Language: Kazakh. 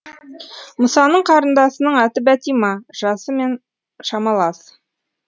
мұсаның қарындасының аты бәтима жасы мен шамалас